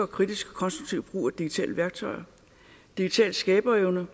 kritisk og konstruktiv brug af digitale værktøjer digital skaberevne